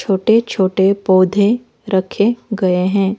छोटे-छोटे पौधे रखे गए हैं।